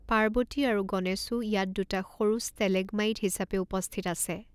পাৰ্বতী আৰু গণেশো ইয়াত দুটা সৰু ষ্টেলেগমাইট হিচাপে উপস্থিত আছে।